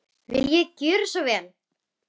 Viljiði gjöra svo vel.